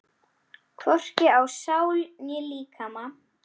Hvorki á sál né líkama.